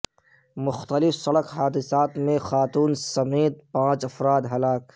مختلف سڑک حادثات میں خاتون سمیت پانچ افراد ہلاک